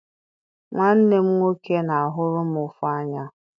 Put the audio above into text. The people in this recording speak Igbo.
Nwanne m nwoke na-ahụrụ m ụfụ anya